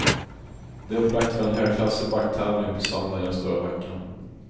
Det är upplagt för en högklassig backtävling på söndag i den stora backen.